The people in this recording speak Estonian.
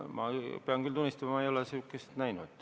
Ma pean küll tunnistama, et ma ei ole sellist ettepanekut näinud.